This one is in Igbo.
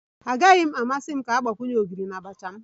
Agaghị m amasị ka a gbakwunye ogiri na abacha m